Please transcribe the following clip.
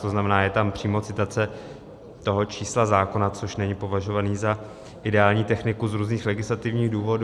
To znamená, je tam přímo citace toho čísla zákona, což není považované za ideální techniku z různých legislativních důvodů.